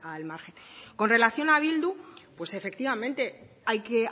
al margen con relación a bildu pues efectivamente hay que